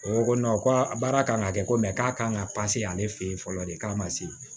O ko ko a baara kan ka kɛ ko k'a kan ka ale fɛ yen fɔlɔ de k'a ma se